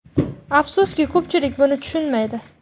Afsuski, ko‘pchilik buni tushunmaydi.